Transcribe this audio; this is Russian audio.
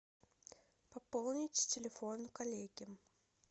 пополнить телефон коллеги